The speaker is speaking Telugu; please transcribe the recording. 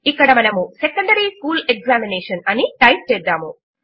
ఇక్కడ మనము సెకండరీ స్కూల్ ఎగ్జామినేషన్ అని టైప్ చేద్దాము